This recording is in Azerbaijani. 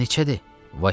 Neçədir?